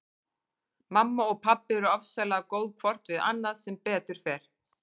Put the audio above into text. Mamma og pabbi eru ofsalega góð hvort við annað sem betur fer.